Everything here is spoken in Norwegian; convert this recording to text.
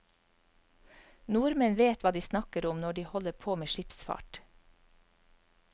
Nordmenn vet hva de snakker om når de holder på med skipsfart.